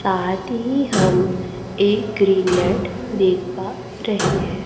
साथी हम एक ग्रीन नेट देख पा रहे हैं।